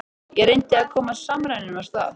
Ég reyndi að koma samræðum af stað.